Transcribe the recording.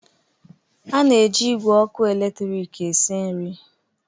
A na-eji igwe ọkụ eletrik esi nri.